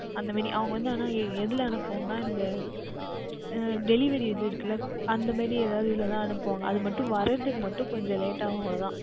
அந்த மாதிரி அவர்கள் வந்து ஆனால் இதில் அனுப்புவார்கள் என்றால் இந்த அஹ் Delivery இது இருக்கின்றது அல்ல அந்த மாதிரி எதாவுது இதில் தான் அனுப்புவார்கள் அது மற்றும் வருவதற்கு மற்றும் கொஞ்சம் Late ஆகும் அவ்வளவு தான்